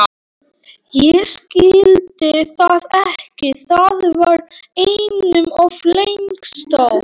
Ég skildi það ekki, það var einum of langsótt.